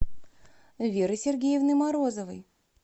веры сергеевны морозовой